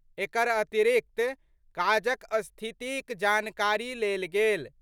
एकर अतिरिक्त काजक स्थितिक जानकारी लेल गेल।